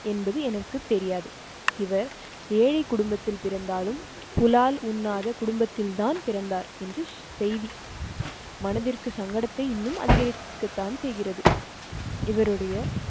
என்பது எனக்கு தெரியாது. இவர் ஏழை குடும்பத்தில் பிறந்தாலும் புலால் உண்ணாத குடும்பத்தில்தான் பிறந்தார் என்று செய்தி மனதிற்கு சங்கடத்தை இன்னும் அதிகரிக்கத்தான் செய்கிறது.